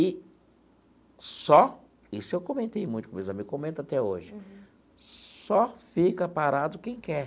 E só, isso eu comentei muito com meus amigos, comento até hoje, só fica parado quem quer.